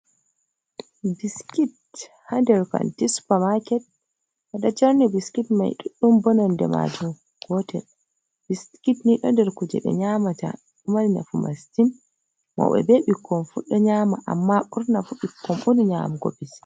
Biskit ha nder kanti supamaket, ɓe ɗo jerni biskit mai ɗuɗɗum bo nonde maaji gotel, biskit ni ɗon nder kuje ɓe nyamata ɗo mari nafu masitin mauɓe be ɓikkon fu ɗo nyama amma ɓurna fu ɓikkon ɓuri nyamugo biskit.